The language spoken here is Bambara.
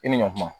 I ni ɲankuma